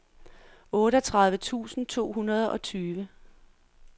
otteogtredive tusind to hundrede og tyve